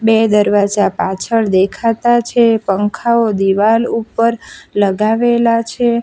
એ દરવાજા પાછળ દેખાતા છે પંખાઓ દિવાલ ઉપર લગાવેલા છે.